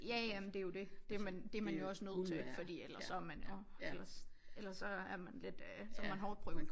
Ja ja men det jo det det man det man jo også nødt til fordi ellers så man jo ellers ellers så er man lidt øh så er man hårdtprøvende